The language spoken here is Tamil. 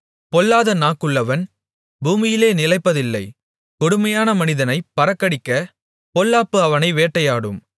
பொல்லாத நாக்குள்ளவன் பூமியிலே நிலைப்பதில்லை கொடுமையான மனிதனை பறக்கடிக்கப் பொல்லாப்பு அவனை வேட்டையாடும்